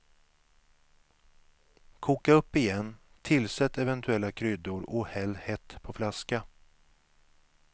Koka upp igen, tillsätt eventuella kryddor och häll hett på flaska.